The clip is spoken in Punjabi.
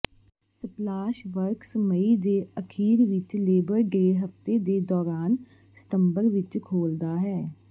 ਸਪਲਾਸ਼ ਵਰਕਸ ਮਈ ਦੇ ਅਖੀਰ ਵਿੱਚ ਲੇਬਰ ਡੇ ਹਫਤੇ ਦੇ ਦੌਰਾਨ ਸਤੰਬਰ ਵਿੱਚ ਖੋਲਦਾ ਹੈ